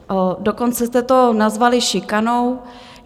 Dokonce jste to nazvali šikanou.